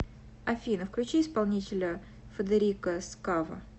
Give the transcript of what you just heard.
афина включи исполнителя федерико скаво